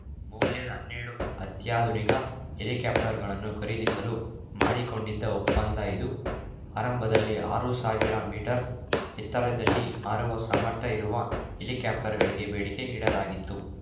ಮೌಲ್ಯದ ಹನ್ನೆರಡು ಅತ್ಯಾಧುನಿಕ ಹೆಲಿಕಾಪ್ಟರ್‌ಗಳನ್ನು ಖರೀದಿಸಲು ಮಾಡಿಕೊಂಡಿದ್ದ ಒಪ್ಪಂದ ಇದು ಆರಂಭದಲ್ಲಿ ಆರು ಸಾವಿರ ಮೀಟರ್‌ ಎತ್ತರದಲ್ಲಿ ಹಾರುವ ಸಾಮರ್ಥ್ಯ ಇರುವ ಹೆಲಿಕಾಪ್ಟ್‌ರ್‌ಗಳಿಗೆ ಬೇಡಿಕೆ ಇಡಲಾಗಿತ್ತು